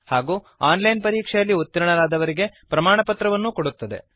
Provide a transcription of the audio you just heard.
ಹಾಗೂ online ಪರೀಕ್ಷೆಯಲ್ಲಿ ಉತ್ತೀರ್ಣರಾದವರಿಗೆ ಪ್ರಮಾಣಪತ್ರವನ್ನು ಕೊಡುತ್ತದೆ